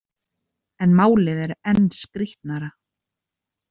En málið er enn skrýtnara.